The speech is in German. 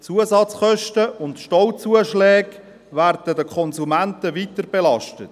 Die Zusatzkosten und Stauzuschläge werden den Konsumenten weiterbelastet.